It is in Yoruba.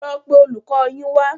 Lọ pe olùkọ yín wa